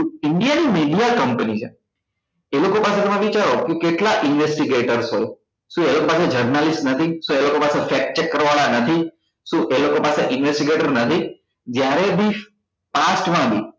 કે indian ની company છે એ લોકો પાસે તમે વિચારો કે કેટલા investigater છે શું એ લોકોન પાસે journalist નથી શું એ લોકો પાસે structure નથી શું એ લોકો પાસે investigater નથી જ્યારે બે past માં બી